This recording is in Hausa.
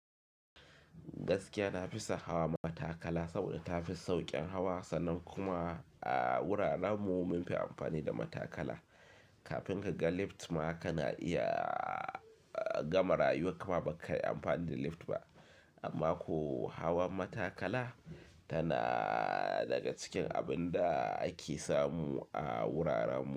Gaskiya na fi son hawa matakala saboda ta fi sauƙin hawa, sannan kuma a wuraren mu mun fi amfani da matakala. Kafin ka ga lift ma kana iya gama rayuwar ka ba ka yi amfani da lift ba. Amma ko hawan matakala tana daga cikin abin da ake samu a wuraren mu.